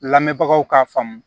Lamɛnbagaw ka faamu